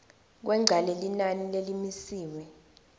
kwengca lelinani lelimisiwe